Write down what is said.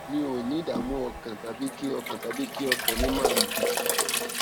mi ò ní ìdààmú ọkàn tàbí kí ọkàn tàbí kí ọkàn mi máa lù kìkì